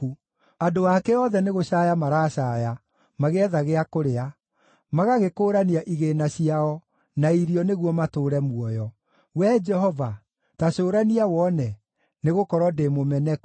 Andũ ake othe nĩgũcaaya maracaaya magĩetha gĩa kũrĩa; magagĩkũũrania igĩĩna ciao na irio nĩguo matũũre muoyo. “Wee Jehova, ta cũrania wone, nĩgũkorwo ndĩ mũmeneku.”